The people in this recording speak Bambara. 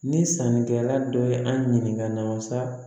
Ni sannikɛla dɔ ye an ɲininka masa